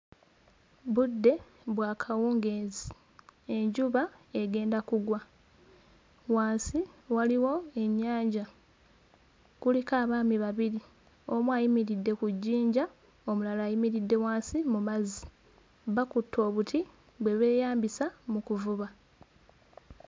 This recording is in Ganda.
Budde bwa kawungeezi, enjuba egenda kugwa, wansi waliwo ennyanja, kuliko abaami babiri, omu ayimiridde ku jjinja omulala ayimiridde wansi mu mazzi. Bakutte obuti bwe beeyambisa mu kuvuba.